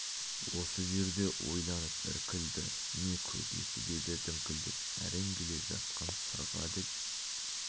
осы жерде ойланып іркілді не көкесі деді діңкелеп әрең келе жатқан сырға деп